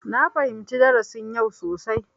Na fahimci darasin yau sosai.